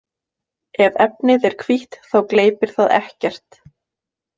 Ef efnið er hvítt þá gleypir það ekkert.